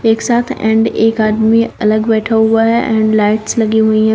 एक साथ एंड एक आदमी अलग बैठा हुआ है एंड लाइट्स लगी हुई हैं।